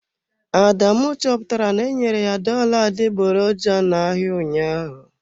Adamu chọpụtara na-enyere ya dollar adịgboroja n'ahịa ụnyaahụ.